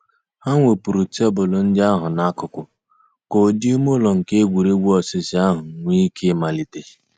Hà wépụ̀rù tebụl ńdí àhụ̀ n'àkùkò kà ǔ́dị̀ ìmè ǔlọ̀ nke ègwè́ré́gwụ̀ òsìsì àhụ̀ nwee íké ị̀màlítè.